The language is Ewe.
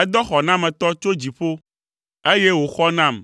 Edɔ xɔnametɔ tso dziƒo, eye wòxɔ nam